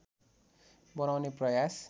बनाउने प्रयास